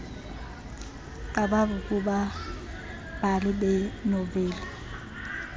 qabavu kubabhali beenoveli